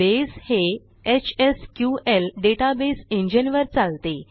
बसे हे HSQL database engineवर चालते